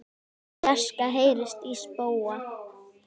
Í fjarska heyrist í spóa.